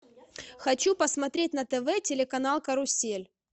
хочу посмотреть на тв телеканал карусель